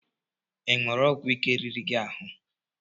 Ịṅụru ọgwụ ike riri gị ahụ?